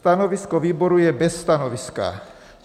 Stanovisko výboru je bez stanoviska.